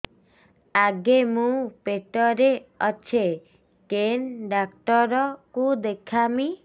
ଆଗୋ ମୁଁ ପେଟରେ ଅଛେ କେନ୍ ଡାକ୍ତର କୁ ଦେଖାମି